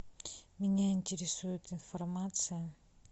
меня интересует информация